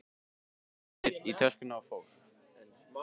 Nína setti niður í töskur og fór.